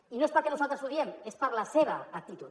i no és perquè nosaltres ho diguem és per la seva actitud